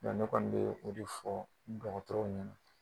Nga ne kɔni be fɔ ni dɔgɔtɔrɔ nunnu